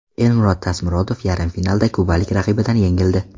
Elmurod Tasmurodov yarim finalda kubalik raqibidan yengildi.